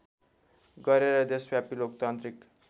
गरेर देशव्यापी लोकतान्त्रिक